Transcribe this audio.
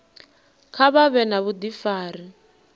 kha vha vhe na vhudifari